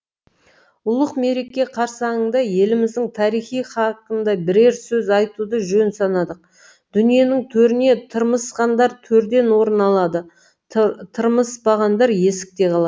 ұлық мереке қарсаңында еліміздің тарихы хақында бірер сөз айтуды жөн санадық дүниенің төріне тырмысқандар төрден орын алады тырмыспағандар есікте қалады